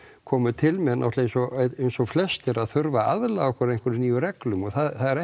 komum til með eins og eins og flestir að þurfa aðlaga okkur að einhvejrum nýjum reglum og það er